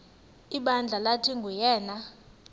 ibandla lathi nguyena